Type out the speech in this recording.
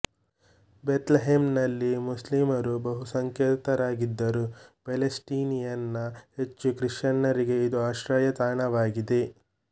ಬೆಥ್ ಲೆಹೆಮ್ ನಲ್ಲಿ ಮುಸ್ಲಿಮ್ ರು ಬಹುಸಂಖ್ಯಾತರಿದ್ದರೂ ಪ್ಯಾಲೆಸ್ಟಿನಿಯನ್ ನ ಹೆಚ್ಚು ಕ್ರಿಶ್ಚನ್ನರಿಗೆ ಇದು ಆಶ್ರಯ ತಾಣವಾಗಿದೆ